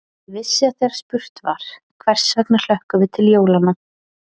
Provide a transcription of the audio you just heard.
Ég vissi að þegar spurt var: hvers vegna hlökkum við til jólanna?